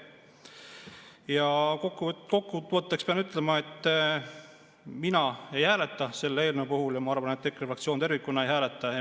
Ja kokkuvõtteks pean ütlema, et mina ei hääleta selle eelnõu puhul ja ma arvan, et EKRE fraktsioon tervikuna ei hääleta.